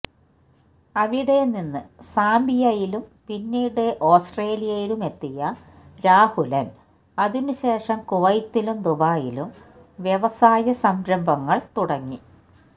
അവിടെനിന്ന് സാംബിയയിലും പിന്നീട് ഓസ്ട്രേലിയയിലുമെത്തിയ രാഹുലന് അതിനുശേഷം കുവൈത്തിലും ദുബായിലും വ്യവസായസംരംഭങ്ങള് തുടങ്ങി